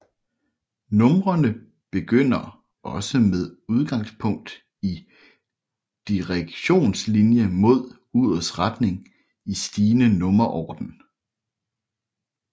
Numrene begynder også med udgangspunkt i Direktionslinie mod urets retning i stigende nummerorden